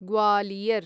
Gwalior